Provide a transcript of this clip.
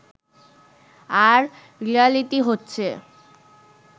আর reality হচ্ছে